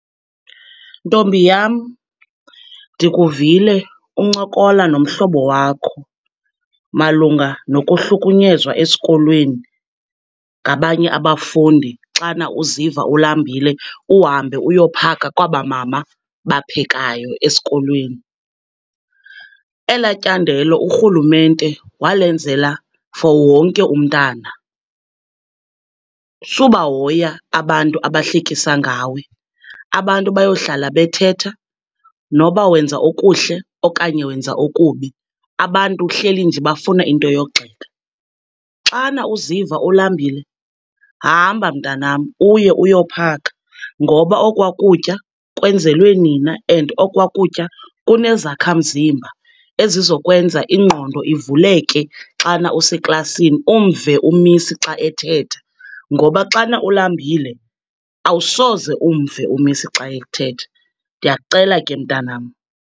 Ntombi yam, ndikuvile uncokola nomhlobo wakho malunga nokuhlukunyezwa esikolweni ngabanye abafundi xana uziva ulambile uhambe uyophaka kwaba mama baphekayo esikolweni. Ela tyandelo urhulumente walenzela for wonke umntana. Subahoya abantu abahlekisa ngawe, abantu bayohlala bethetha, noba wenza okuhle okanye wenza okubi, abantu hleli nje bafuna into yogxeka. Xana uziva ulambile hamba, mntanam, uye uyophaka, ngoba okwa kutya kwenzelwe nina, and okwa kutya kunezakhamzimba ezizokwenza ingqondo ivuleke xana useklasini, umve u-Miss xa ethetha ngoba xana ulambile awusoze umve u-Miss xa ethetha. Ndiyakucela ke, mntanam.